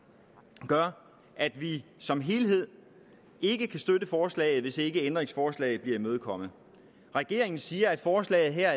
gør at vi som helhed ikke kan støtte forslaget hvis ikke ændringsforslaget bliver imødekommet regeringen siger at forslaget her